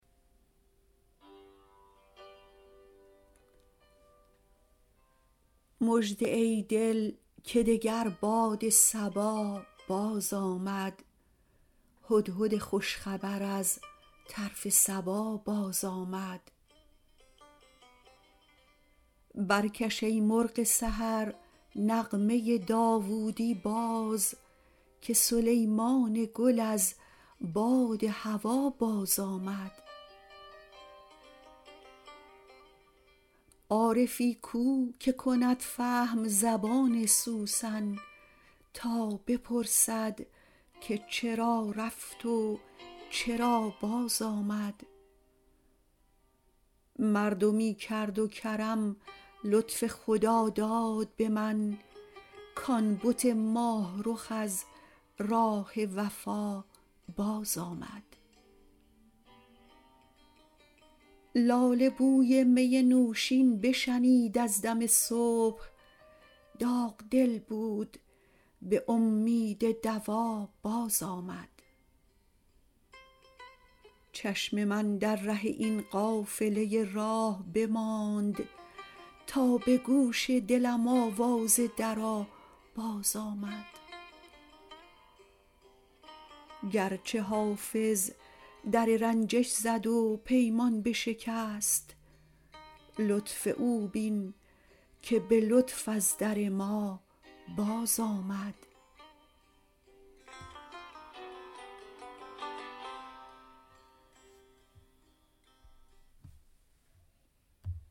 مژده ای دل که دگر باد صبا بازآمد هدهد خوش خبر از طرف سبا بازآمد برکش ای مرغ سحر نغمه داوودی باز که سلیمان گل از باد هوا بازآمد عارفی کو که کند فهم زبان سوسن تا بپرسد که چرا رفت و چرا بازآمد مردمی کرد و کرم لطف خداداد به من کـ آن بت ماه رخ از راه وفا بازآمد لاله بوی می نوشین بشنید از دم صبح داغ دل بود به امید دوا بازآمد چشم من در ره این قافله راه بماند تا به گوش دلم آواز درا بازآمد گرچه حافظ در رنجش زد و پیمان بشکست لطف او بین که به لطف از در ما بازآمد